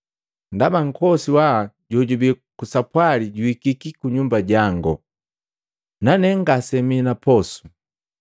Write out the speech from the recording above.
ndaba nkosi waa jojubii kusapwali juhikiki kunyumba jango, nane ngase mina posu.’